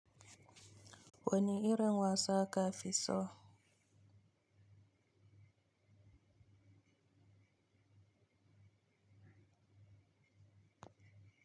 Wanne irin wasa kafi so?